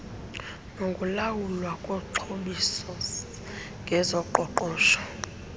nokulawulwa koxhobiso ngezoqoqosho